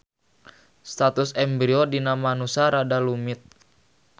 Status embrio dina manusa rada rumit.